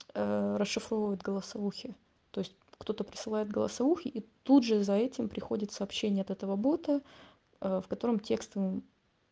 расшифровывают голосовухи то есть кто-то присылают голосовухи и тут же за этим приходит сообщение от этого бота в котором текстом